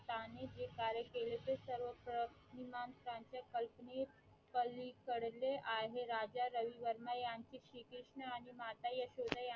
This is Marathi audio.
त्यांनी जे कार्य केले ते सर्व प्रतिमांच्या कल्पने पलीकडले आहेत राजा रवि वर्मा ह्यांनी श्री कृष्ण आणि माता यशोदा